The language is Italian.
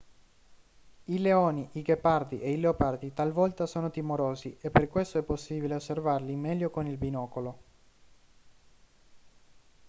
i leoni i ghepardi e i leopardi talvolta sono timorosi e per questo è possibile osservarli meglio con il binocolo